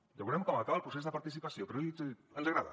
ja veurem com acaba el procés de participació però ens agrada